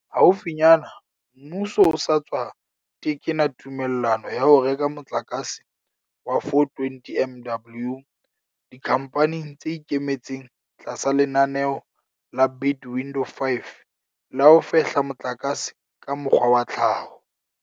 Haufinyane, mmuso o sa tswa tekena tumellano ya ho reka motlakase wa 420 MW dikhamphaneng tse ikemetseng tlasa lenaneo la Bid Window 5 la ho fehla motlakase ka mokgwa wa tlhaho.